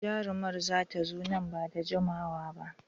Jarumar za ta zo nan ba da jimawa ba.